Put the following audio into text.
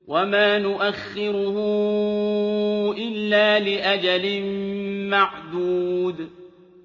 وَمَا نُؤَخِّرُهُ إِلَّا لِأَجَلٍ مَّعْدُودٍ